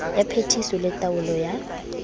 ya phetiso le taolo ya